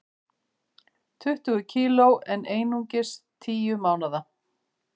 Tuttugu kg en einungis tíu mánaða